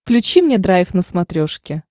включи мне драйв на смотрешке